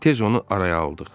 Tez onu araya aldıq.